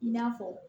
I n'a fɔ